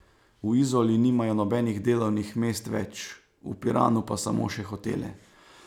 V Izoli nimajo nobenih delovnih mest več, v Piranu pa samo še hotele.